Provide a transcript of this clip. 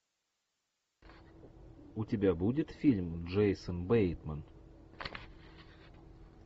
у тебя будет фильм джейсон бейтман